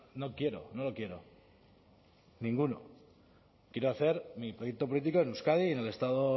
no quiero no lo quiero ninguno quiero hacer mi proyecto político en euskadi y en el estado